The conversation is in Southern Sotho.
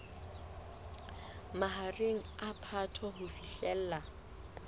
mahareng a phato ho fihlela